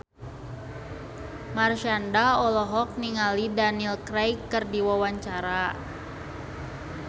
Marshanda olohok ningali Daniel Craig keur diwawancara